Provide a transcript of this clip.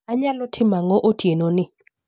Anyalo timo ang'o otienoni